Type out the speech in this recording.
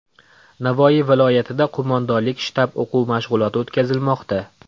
Navoiy viloyatida qo‘mondonlik-shtab o‘quv mashg‘uloti o‘tkazilmoqda.